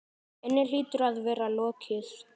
inni hlýtur að vera lokið.